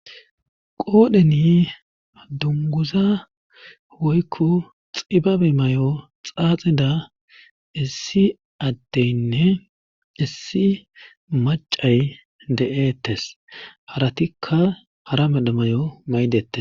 Qoodheni dunguza woykko xibabe may'o xaaxida issi atteynne issi macay de'ettes haratikka hara medha may'o maydette.